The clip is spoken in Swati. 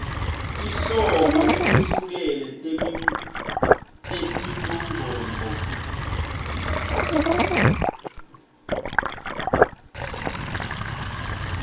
tinhlobo letehlukene tetimongcondvo